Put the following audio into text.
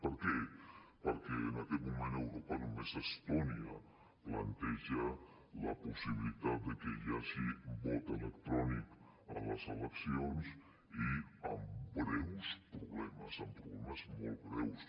per què perquè en aquest moment a europa només estònia planteja la possibilitat que hi hagi vot electrònic a les eleccions i amb greus problemes amb problemes molt greus